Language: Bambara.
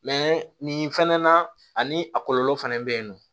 nin fɛnɛ na ani a kɔlɔlɔ fɛnɛ be yen nɔ